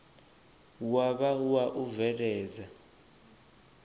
wa vha wa u bveledza